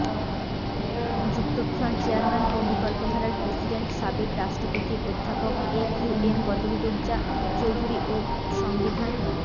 যুক্তফ্রন্ট chairman ও বিকল্পধারার president সাবেক রাষ্ট্রপতি অধ্যাপক A Q M Badruddoza Chowdhury ও সংবিধান